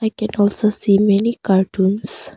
I can also see many cartoons.